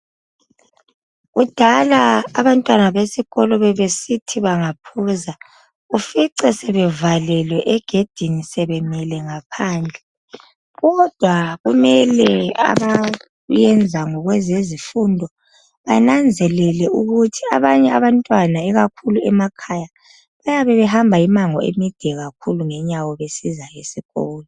kudala abantwana besikolo bebesithi bengaphuza ufice sebevalelwe egedini sebemile ngaphandle kodwa kumele abakwenza ngabezezifundo kumele benanzelele ukuba abanye abantwana ikakhulu emakhaya bayabe behamba imango emide besiza esikolo